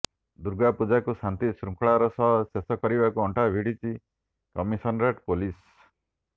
ଦୁର୍ଗା ପୂଜାକୁ ଶାନ୍ତି ଶୃଙ୍ଖଳାର ସହ ଶେଷ କରିବାକୁ ଅଣ୍ଟା ଭିଡ଼ିଛି କମିସନରେଟ୍ ପୋଲିସ